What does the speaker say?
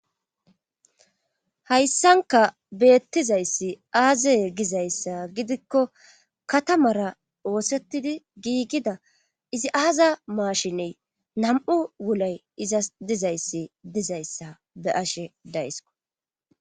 Hayssanka beettizayssi aazaye gizayssa gidikko katamara oosettidi giigida izi aaza maashiney nam7u wulay iza dizayssi dizayssa be ashe daysko.